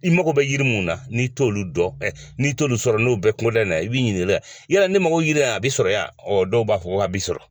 I mago bɛ jiri min na n'i t'olu dɔn n'i t'olu sɔrɔ n'o bɛɛ kungoda in na i bɛ ɲini y'a dɔn ne mago bɛ yiri la a bɛ sɔrɔ dɔw b'a fɔ k'a bɛ sɔrɔ